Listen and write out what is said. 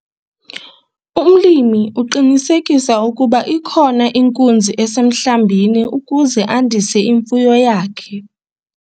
Umlimi uqinisekisa ukuba ikhona inkunzi esemhlambini ukuze andise imfuyo yakhe.